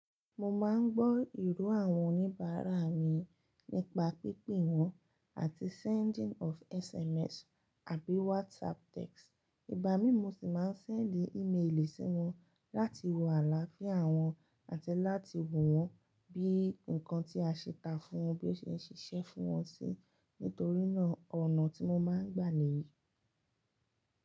Mo máa ń gbọ́ ìró àwọn oníbàárà mi nípa pípe wọn àti sending of SMS àbí WhatsApp text. Ìgbá mi mo sì máa ń sẹndí ímélì sí wọn láti wo àlàáfíà wọn àti láti wò wọ́n bí nǹkan tí a ṣe ta fún wọn bí ó ṣe ń ṣiṣẹ́ fún wọn sí nítorínà ọ̀nà tí mo máa ń gbà níyì.